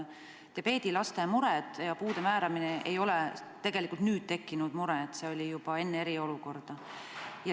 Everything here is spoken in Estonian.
Diabeedilaste mured ja puude määramine ei ole tegelikult alles nüüd tekkinud, see probleem oli juba enne eriolukorda.